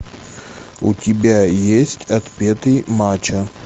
у тебя есть отпетый мачо